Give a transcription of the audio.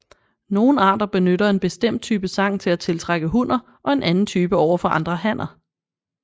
Nogle arter benytter en bestemt type sang til at tiltrække hunner og en anden type overfor andre hanner